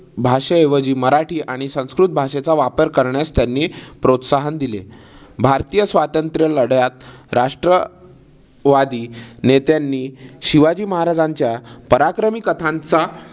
भाषे ऐवजी मराठी आणि संस्कृत भाषेचा वापर करण्यास त्यांनी प्रोत्साहन दिले. भारतीय स्वातंत्र लढ्यात राष्ट्र वादी नेत्यांनी शिवाजी महाराजांच्या पराक्रमी कथांचा